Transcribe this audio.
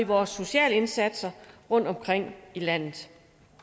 vores sociale indsatser rundtomkring i landet